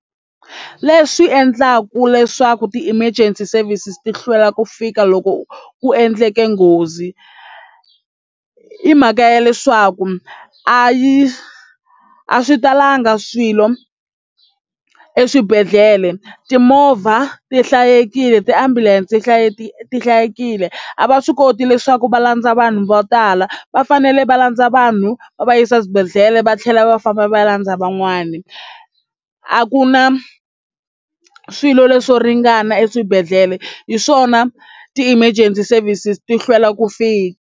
Leswi endlaka leswaku ti-emergency services ti hlwela ku fika loko ku endleke nghozi i mhaka ya leswaku a yi a swi talanga swilo eswibedhlele timovha ti hlayikile ti-ambulance ti hlayisekile a va swi koti leswaku va landza vanhu vo tala va fanele va landza vanhu va va yisa eswibedhlele ndlela va tlhela va famba va landza van'wani a ku na swilo leswo ringana eswibedhlele hi swona ti-emergency services ti hlwela ku fika.